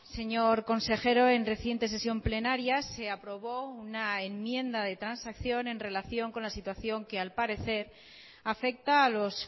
señor consejero en reciente sesión plenaria se aprobó una enmienda de transacción en relación con la situación que al parecer afecta a los